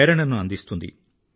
ప్రేరణని అందిస్తుంది